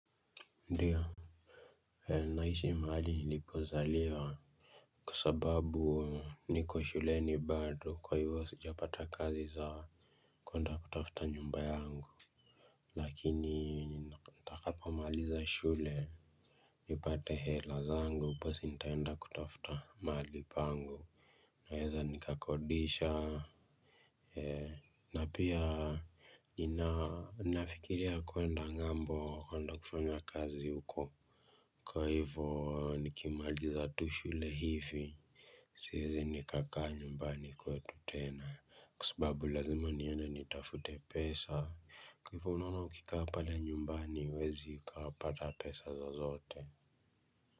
Ndiyo, naishi mahali nilikozaliwa, kwa sababu niko shuleni bado, kwa hivyo sijapata kazi za kwenda kutafuta nyumba yangu lakini nitakapomaliza shule nipate hela zangu basi nitaenda kutafuta mahali pangu. Naweza nikakodisha. Na pia ninafikiria kwenda ng'ambo kwenda kufanya kazi huko. Kwa hivo nikimaliza tu shule hivi siezi nikakaa nyumbani kwetu tena. Kwa sababu lazima niende nitafute pesa. Kwa hivo unaona ukikaa pale nyumbani huwezi ukapata pesa zozote.